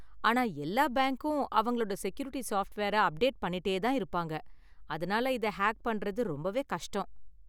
ஆனா, எல்லா பேங்க்கும் அவங்களோட செக்யூரிட்டி சாஃப்ட்வேரை அப்டேட் பண்ணிட்டே தான் இருப்பாங்க, அதனால இதை ஹேக் பண்றது ரொம்பவே கஷ்டம்.